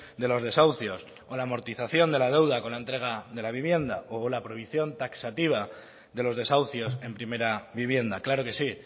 de los desahucios o la amortización de la deuda con la entrega de la vivienda o la prohibición taxativa de los desahucios en primera vivienda claro que sí